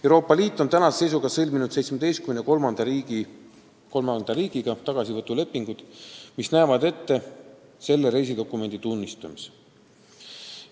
Euroopa Liit on tänase seisuga sõlminud 17 kolmanda riigiga tagasivõtulepingud, mis näevad ette selle reisidokumendi tunnustamise.